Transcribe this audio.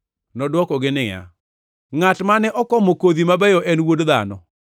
Nodwokogi niya, “Ngʼat mane okomo kodhi mabeyo en Wuod Dhano.